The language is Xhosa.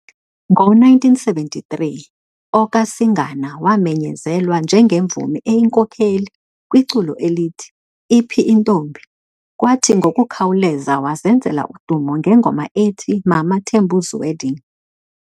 ngo1973, okaSingana wamenyezelwa njengemvumi eyinkokheli kwiculo elithi, "Iphi intombi", kwathi ngokukhawuleza wazenzela udumo ngengoma ethi "Mama Tembu's Wedding".